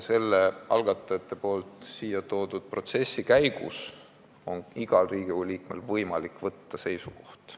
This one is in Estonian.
Selle algatajate siia toodud protsessi käigus on igal Riigikogu liikmel võimalik võtta seisukoht.